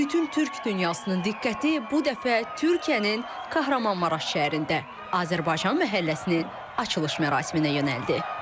Bütün türk dünyasının diqqəti bu dəfə Türkiyənin Kahramanmaraş şəhərində Azərbaycan məhəlləsinin açılış mərasiminə yönəldi.